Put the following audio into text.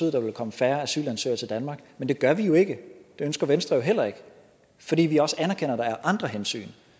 at der ville komme færre asylansøgere til danmark men det gør vi jo ikke det ønsker venstre jo heller ikke fordi vi også anerkender at der er andre hensyn